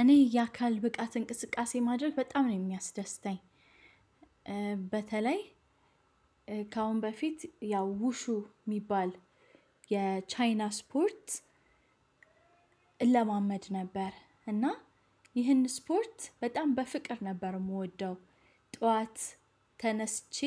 እኔ የአካል ብቃት እንቅስቃሴ ማድረግ በጣም ነው የሚያስደስተኝ። በተለይ ከአሁን በፊት ያው ውሹ የሚባል የቻይና ስፖርት። እለማመድ ነበር እና ይህን ስፖርት በጣም በፍቅር ነበር የምወደው። ጠዋት ተነስቼ